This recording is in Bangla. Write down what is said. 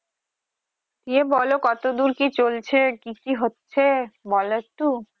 বিয়ে বলো কতদূর কি চলছে কি কি হচ্ছে বলো একটু